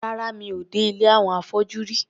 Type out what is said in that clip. Rárá, mi ò dé ilé àwọn afọ́jú rí.